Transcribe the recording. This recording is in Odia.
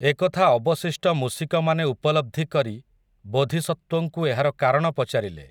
ଏକଥା ଅବଶିଷ୍ଟ ମୂଷିକମାନେ ଉପଲବ୍ଧି କରି ବୋଧିସତ୍ତ୍ୱଙ୍କୁ ଏହାର କାରଣ ପଚାରିଲେ ।